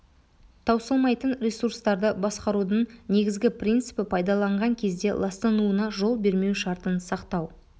таусылмайтын ресурстарды басқарудың негізгі принципі пайдаланған кезде ластануына жол бермеу шартын сақтау